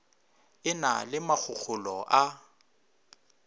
e na le makgokgolo a